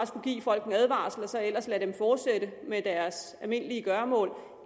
skulle give folk en advarsel for og så ellers lade dem fortsætte med deres almindelige gøremål